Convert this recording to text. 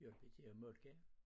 Hjalp i til at malke?